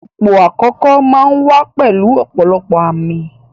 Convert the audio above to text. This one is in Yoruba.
Ipò àkókò máa ń wá pẹ̀lú ọ̀pọ̀lọpọ̀ àmì